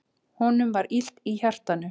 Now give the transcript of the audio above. Honum var illt í hjartanu.